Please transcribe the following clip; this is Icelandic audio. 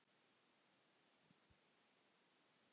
Það getur hann ekki.